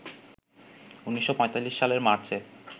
১৯৪৫ সালের মার্চে